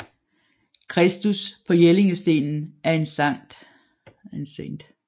Kristus på Jellingstenen er en Skt